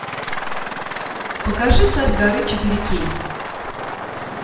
покажи царь горы четыре кей